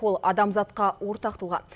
ол адамзатқа ортақ тұлға